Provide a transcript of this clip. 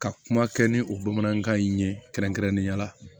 Ka kuma kɛ ni o bamanankan in ye kɛrɛnkɛrɛnnenya la